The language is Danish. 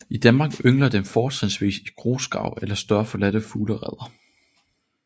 I Danmark yngler den fortrinsvis i grusgrave eller større forladte fuglereder